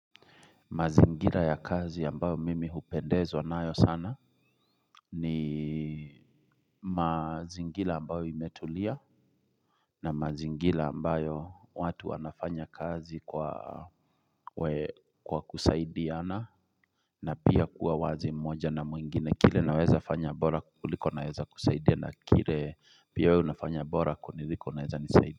Mazingira ya kazi ambayo mimi hupendezwa nayo sana ni mazingira ambayo imetulia na mazingira ambayo watu wanafanya kazi kwa kusaidiana na pia kuwa wazi mmoja na mwingine kile naweza fanya bora kuliko naweza kusaidia na kile pia wewe unafanya bora kuniliko naweza nisaidi.